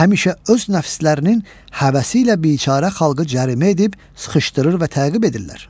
Həmişə öz nəfslərinin həvəsi ilə biçara xalqı cərimə edib, sıxışdırır və təqib edirlər.